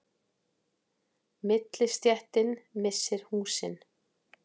Millistéttin missir húsin